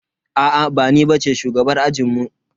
Aa ba ni bace shugabar ajinmu.